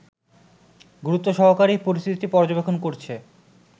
গুরুত্বসহকারেই পরিস্থিতি পর্যবেক্ষণ করছে